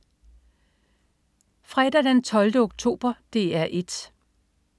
Fredag den 12. oktober - DR 1: